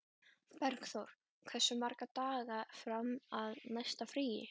Bergþór, hversu margir dagar fram að næsta fríi?